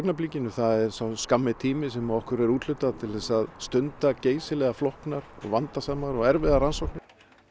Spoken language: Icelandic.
er sá skammi tími sem okkur er úthlutað til að stunda geysilega flóknar vandasamar og erfiðar rannsóknir